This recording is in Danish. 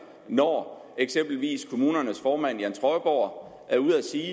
når eksempelvis kommunernes formand jan trøjborg er ude at sige